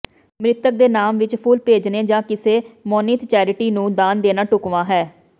ਮ੍ਰਿਤਕ ਦੇ ਨਾਮ ਵਿਚ ਫੁੱਲ ਭੇਜਣੇ ਜਾਂ ਕਿਸੇ ਮਨੋਨੀਤ ਚੈਰਿਟੀ ਨੂੰ ਦਾਨ ਦੇਣਾ ਢੁਕਵਾਂ ਹੈ